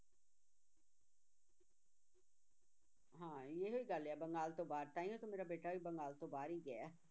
ਹਾਂ ਇਹ ਗੱਲ ਹੈ ਬੰਗਾਲ ਤੋਂ ਬਾਹਰ, ਤਾਂਹੀਓ ਤਾਂ ਮੇਰਾ ਬੇਟਾ ਵੀ ਬੰਗਾਲ ਤੋਂ ਬਾਹਰ ਹੀ ਗਿਆ ਹੈ